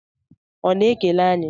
Ọ na-ekele anyị?